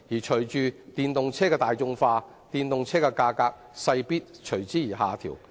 隨着電動車大眾化，電動車的格價勢必下調。